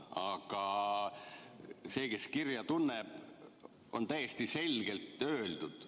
Aga see, kes kirja tunneb, näeb, et on täiesti selgelt öeldud.